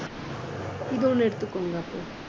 இது ஒண்ணு எடுத்துக்கோங்க அப்புறம்